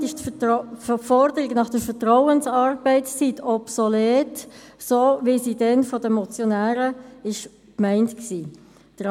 Damit ist die Forderung nach der Vertrauensarbeitszeit, so wie sie damals von den Motionären gemeint war, obsolet.